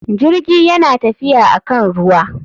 Jirgi yana tafiya akan ruwa.